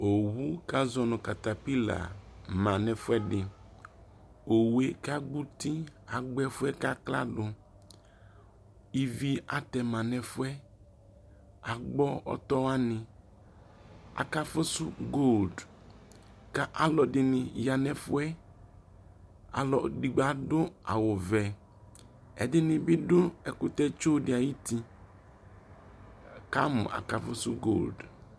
ɔwʋ kʋ azɔnʋ katapila manʋ ɛfʋɛdi, ɔwʋɛ ka gbɔ ʋti, agbɔ ɛfʋɛ kʋ akladʋ, ivi atɛma nʋ ɛfʋɛ, agbɔ ɛfʋ wani, aka fʋsʋ gold, kʋ alʋɛdini yanʋ ɛfʋɛ, alʋ ɛdigbɔ adʋ awʋ vɛɛ, ɛdini bi dʋ ɛkʋtɛ tsɔ di ayiti kʋ amʋ akafʋsʋ gold